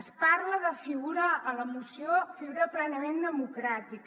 es parla de figura a la moció plenament democràtica